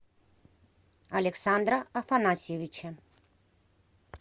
александра афанасьевича